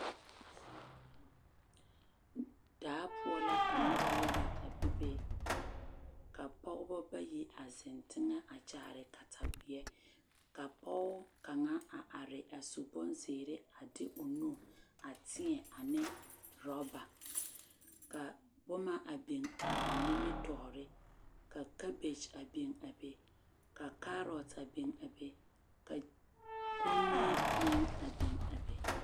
Daa poɔ la ka noba yaga a bebe ka pɔgeba bayi zeŋ teŋɛ a kyaare kataweɛ ka pɔge kaŋa a are a su bonzeere a de o nu a teɛ a neŋ worɔba ka boma a biŋ a ba nimitɔɔre ka kabekye a biŋ a be ka kaarɔte a biŋ a be kommie meŋ a biŋ a be.